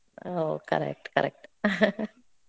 ಹೋ, correct, correct